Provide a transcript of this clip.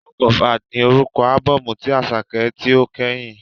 “Work of Art” ni orúkọ ábọ́ọ̀mù tí Àṣàkẹ́ tí ó kẹ́yìn?